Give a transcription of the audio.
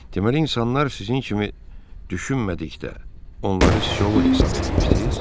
Deməli, insanlar sizin kimi düşünmədikdə onları şovul hesab eləyirsiz?